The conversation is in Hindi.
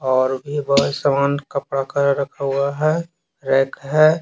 और सामान कपड़ा का रखा हुआ है रैक है।